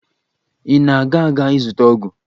Ị na-aga aga ịzụta ọgwụ?